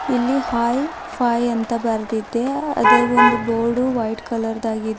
ಇಲ್ಲಿ hi fi ಅಂತ ಬರೆದಿದೆ ಅದೇ ಒಂದು ಬೋರ್ಡು ವೈಟ್ ಕಲರ್ ದಾಗಿದೆ.